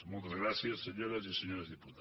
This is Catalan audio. moltes gràcies senyores i senyors diputats